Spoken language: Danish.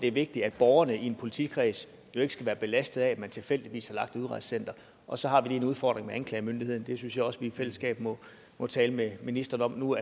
er vigtigt at borgerne i en politikreds jo ikke skal være belastet af at man tilfældigvis har lagt et udrejsecenter og så har vi lige en udfordring med anklagemyndigheden det synes jeg også vi i fællesskab må må tale med ministeren om nu